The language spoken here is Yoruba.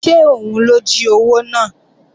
Ṣé òun ló jí owó náà?